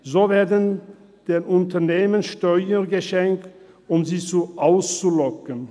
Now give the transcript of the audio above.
So werden den Unternehmen Steuern geschenkt, um sie anzulocken.